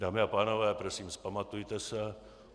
Dámy a pánové, prosím, vzpamatujte se!